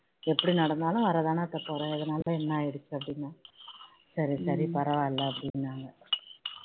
எப்படி நடந்தாலும் வர்ற தானே அத்தை போறேன் இதனால என்ன ஆகிடுச்சி அப்படின்னு சரி சரி பரவாயில்ல அப்படின்னாங்க